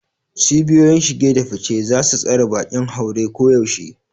Cibiyoyin shige da fice za su tsare bakin haure koyaushe.